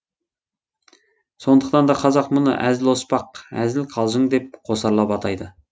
сондықтан да қазақ мұны әзіл оспақ әзіл қалжың деп қосарлап атайды